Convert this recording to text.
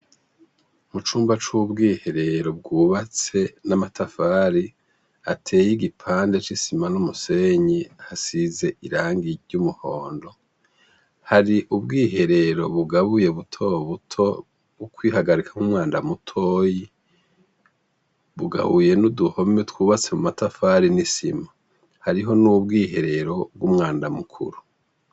Mucumba cubwiherero cubatswe namatafari ateye nigipande cisima numusenyi hasize irangi ry'umuhondo hari ubwiherero bugabuye numwanda mutoyi bugabuye nuduhome twubatse mumatafari nisima hariho mubwiherero bwumwanda mukuru .